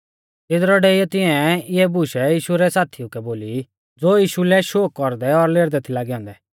तिदरौ डेइयौ तिंआऐ इऐ बुशै यीशु रै साथिउ कै बोली ज़ो यीशु लै शोक कौरदै और लेरदै थै लागै औन्दै